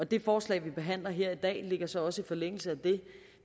det forslag vi behandler her i dag ligger så også i forlængelse af det